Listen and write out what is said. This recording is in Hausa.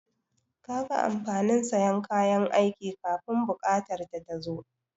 Kaga amfanin sayan kayan aiki kafun buƙatar ta ta tazo?